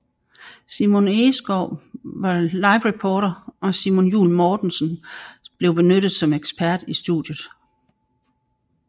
Simon Egeskov var livereporter og Simon Juul Mortensen blev benyttet som ekspert i studiet